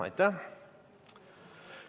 Aitäh!